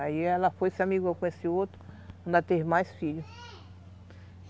Aí ela foi se amigou com esse outro, ainda teve mais filhos.